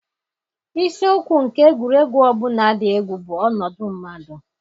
Isiokwu nke egwuregwu ọ bụla dị egwu bụ ọnọdụ mmadụ.